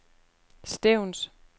Stevns